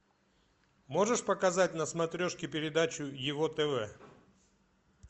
можешь показать на смотрешке передачу его тв